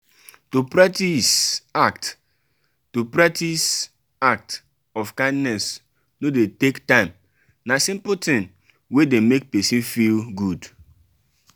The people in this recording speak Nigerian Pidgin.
to practice act to practice act of kindness no de take time na simple thing wey de make persin feel good